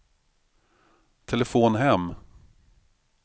telefon hem